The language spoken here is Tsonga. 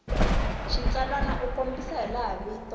xitsalwana u kombisa hilaha vito